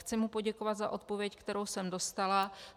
Chci mu poděkovat za odpověď, kterou jsem dostala.